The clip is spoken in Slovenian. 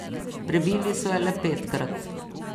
Prebili so jo le petkrat.